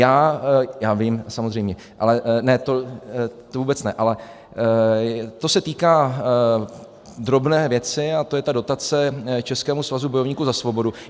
Já vím, samozřejmě, to vůbec ne, ale to se týká drobné věci a to je ta dotace Českému svazu bojovníků za svobodu.